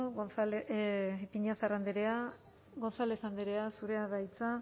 eskerrik asko ipiñazar andrea gonzález andrea zurea da hitza